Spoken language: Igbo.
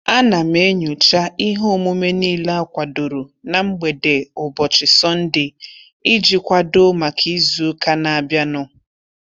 A na m enyocha ihe omume niile akwadoro na mgbede ụbọchị Sọnde iji kwado maka izuụka na-abịa nụ.